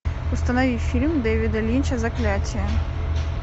установи фильм дэвида линча заклятие